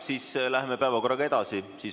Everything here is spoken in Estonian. Siis läheme päevakorraga edasi.